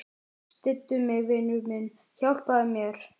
Styddu mig, vinur minn, hjálpaðu mér.